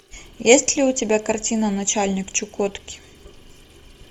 есть ли у тебя картина начальник чукотки